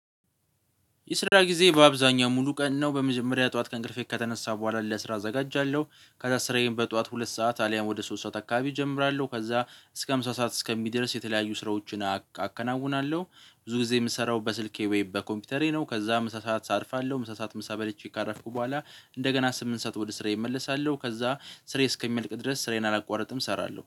የስራ ጊዜ በአብዛኛው ሙሉ ቀን ነው። በመጀመሪያ ጠዋት ከእንቅልፌ ከተነሳሁ በኋላ፣ ለስራ አዘጋጃለሁ፣ ከዛ ስራዬን በጠዋት ሁለት ሰዓት አሊያም ወደ ሶስት ሰዓት አካባቢ እጀምራለሁ፣ ከዛ እስከ ምሳ ሰዓት እስከሚደርስ የተለያዩ ስራዎችን አከናውናለሁ። ብዙ ጊዜ የምሰራው በስልኬ ወይም በኮምፒውተሬ ነው። ከዛ ምሳ ሰዓት አርፋለሁ፣ ምሳ ሰዓት ምሳ በልቼ ካረፍኩ በኋላ እንደገና ስምንት ሰዓት ወደ ስሬዬ እመለሳለሁ። ከዛ ስሬ እስከሚመልቅ ድረስ ስራዬን አላቋርጥም እሰራለሁ።